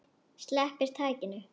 Sleppir takinu.